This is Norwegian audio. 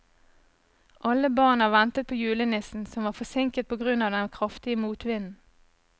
Alle barna ventet på julenissen, som var forsinket på grunn av den kraftige motvinden.